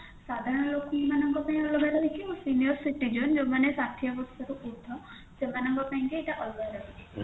ସାଧାରଣ ଲୋକଙ୍କ ପାଇଁ ରହିଛି senior citizen ଯୋଉମାନେ ଷାଠିଏ ବର୍ଷରୁ ଉର୍ଦ୍ଧ ସେମାନଙ୍କ ପାଇଁ ଏଇଟା ଅଲଗା ରହିଛି